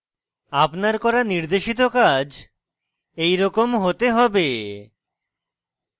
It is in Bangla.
আপনার করা নির্দেশিত কাজ এইরকম হতে হবে